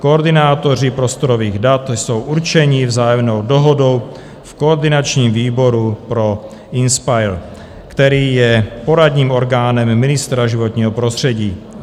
Koordinátoři prostorových dat jsou určeni vzájemnou dohodou v koordinačním výboru pro INSPIRE, který je poradním orgánem ministra životního prostředí.